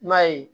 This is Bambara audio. I m'a ye